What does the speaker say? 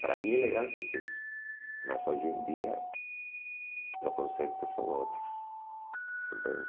Para mim a elegância és isso, mas hoje em dia os conceitos são outros. Compreende?